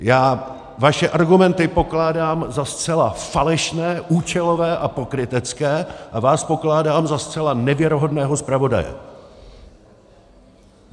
Já vaše argumenty pokládám za zcela falešné, účelové a pokrytecké a vás pokládám za zcela nevěrohodného zpravodaje!